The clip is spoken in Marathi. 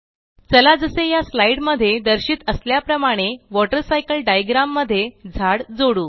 चला जसे या स्लाईड मध्ये दर्शित असल्याप्रमाणे वॉटर सायकल डायग्राम मध्ये झाड जोडू